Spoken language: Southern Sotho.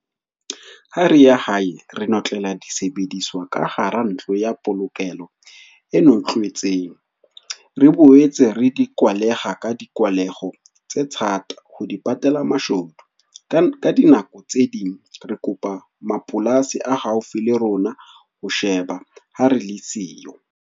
Ha re ya hae, re notlela disebediswa ka hara ntlo ya polokelo e notlwetseng. Re boetse re dikwaleha ka dikwaleho tse thata, ho di patela mashodu. Ka dinako tse ding re kopa mapolasi a haufi le rona ho sheba ha re le siyo.